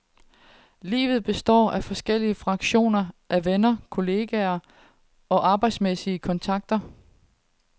Livet består af forskellige fraktioner af venner, kolleger og arbejdsmæssige kontakter.